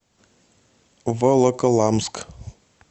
волоколамск